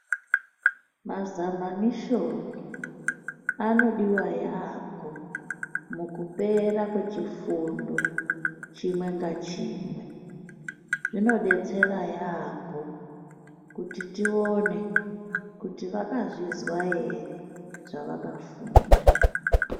Mazamanisheni anodiwa yambo mukupera kwechifundo chimwe nachimwe zvinodetsera yambo kuti tione kuti vakazvinzwa ere zvavakafunda.